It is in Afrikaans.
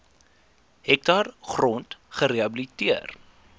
hektaar grond gerehabiliteer